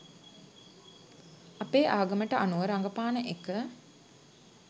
අපේ ආගමට අනුව රඟපාන එක